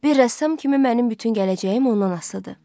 Bir rəssam kimi mənim bütün gələcəyim ondan asılıdır.